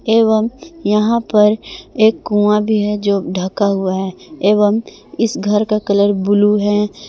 एवं यहां पर एक कुआं भी है जो ढका हुआ है एवं इस घर का कलर ब्लू है।